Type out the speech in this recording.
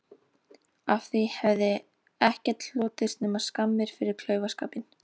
Af því hefði ekkert hlotist nema skammir fyrir klaufaskapinn.